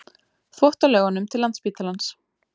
Þvottalaugunum til Landspítalans.